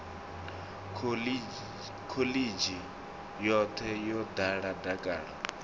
khoḽidzhi yoṱhe yo ḓala dakalo